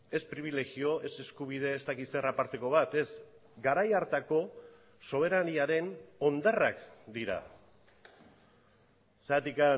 ez pribilegio ez eskubide ez dakit zer aparteko bat ez garai hartako soberaniaren hondarrak dira zergatik